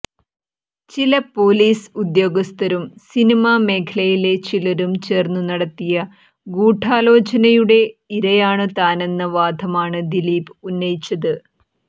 ചില പൊലീസ് ഉദ്യോഗസ്ഥരും സിനിമാ മേഖലയിലെ ചിലരും ചേർന്നു നടത്തിയ ഗൂഢാലോചനയുടെ ഇരയാണു താനെന്ന വാദമാണു ദിലീപ് ഉന്നയിച്ചത്